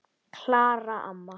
Klara amma.